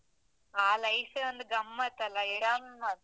ಆ life ಏ ಒಂದು ಗಮ್ಮತ್ತಲ್ಲ?